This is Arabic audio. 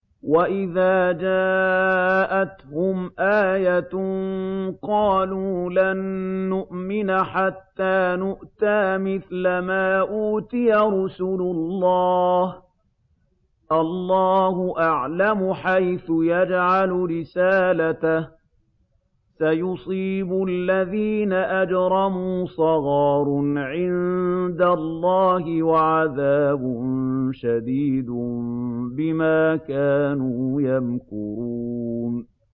وَإِذَا جَاءَتْهُمْ آيَةٌ قَالُوا لَن نُّؤْمِنَ حَتَّىٰ نُؤْتَىٰ مِثْلَ مَا أُوتِيَ رُسُلُ اللَّهِ ۘ اللَّهُ أَعْلَمُ حَيْثُ يَجْعَلُ رِسَالَتَهُ ۗ سَيُصِيبُ الَّذِينَ أَجْرَمُوا صَغَارٌ عِندَ اللَّهِ وَعَذَابٌ شَدِيدٌ بِمَا كَانُوا يَمْكُرُونَ